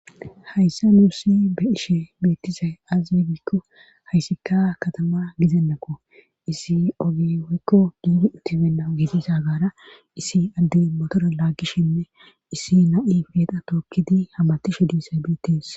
hayssa nuussi be ishe beettisay azzigikko hayssikka katama gizennako issi ogihoykko giidi utibenna giitisa gaara issi addey motora laaggishinne issi na7i feeqa tookkidi hamatishe diisay btes